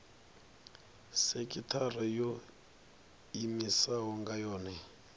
sekithara yo iimisaho nga yohe